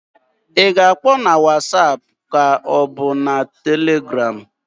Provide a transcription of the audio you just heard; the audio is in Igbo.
I ga-akpọ na wasap k'ọ bụ na Telegram?